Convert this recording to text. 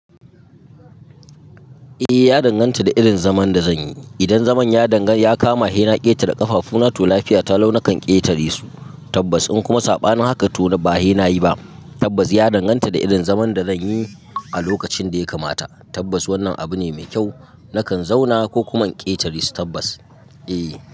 Eh ya danganta da irin zaman da zanyi. Idan zaman ya kama henna ƙetare ƙafafu na to lafiya ta lau nakan ƙetare su tabbas. In kuma saɓa na haka to ba henna yi ba tabbas ya danganta da irin zaman da zanyi a lokacin da ya kamata tabbas wannan abu ne mai kyau. Nakan zauna ko kuma ƙetare su tabbas eh.